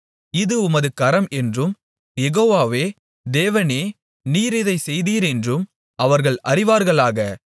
இது உமது கரம் என்றும் யெகோவாவே தேவனே நீர் இதைச் செய்தீர் என்றும் அவர்கள் அறிவார்களாக